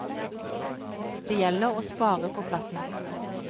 Det gjelder å spare på plassen.